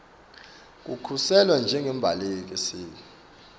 kukhuseliswa njengembaleki sibe